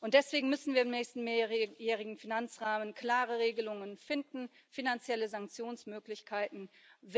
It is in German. Deswegen müssen wir im nächsten mehrjährigen Finanzrahmen klare Regelungen, finanzielle Sanktionsmöglichkeiten finden.